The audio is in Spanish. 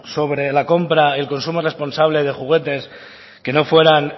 sobre la compra el consumo responsable de juguetes que no fueran